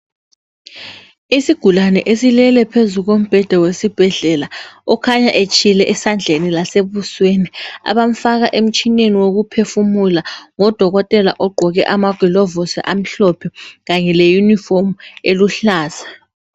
Isigulane esilele phezu kombheda wesibhedlela okhanya etshile esandleni lasebusweni abamfaka emtshineni wokuphefumula ngudokotela ogqoke amagilovisi amhlophe kanye le uniform eluhlaza.